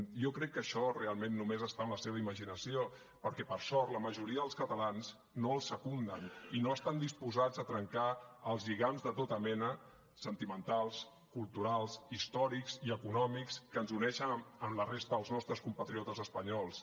jo crec que això realment només està en la seva imaginació perquè per sort la majoria dels catalans no ho secunden i no estan disposats a trencar els lligams de tota mena sentimentals culturals històrics i econòmics que ens uneixen amb la resta dels nostres compatriotes espanyols